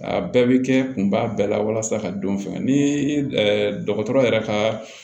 A bɛɛ bɛ kɛ kun b'a bɛɛ la walasa ka don fɛngɛ ni dɔgɔtɔrɔ yɛrɛ ka